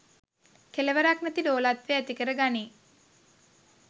කෙළවරක් නැති ලෝලත්වය ඇතිකර ගනියි.